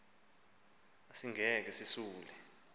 asikhange sisule mlomo